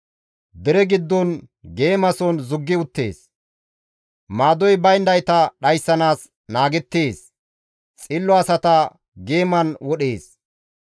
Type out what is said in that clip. Dere giddon geemason zuggi uttees; maadoy bayndayta dhayssanaas naagettees; xillo asata geeman wodhees.